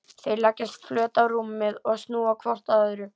Þau leggjast flöt á rúmið og snúa hvort að öðru.